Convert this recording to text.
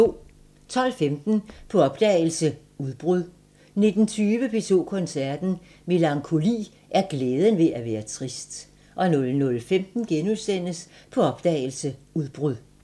12:15: På opdagelse – Udbrud 19:20: P2 Koncerten – Melankoli er glæden ved at være trist 00:15: På opdagelse – Udbrud *